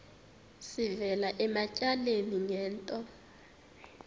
sivela ematyaleni ngento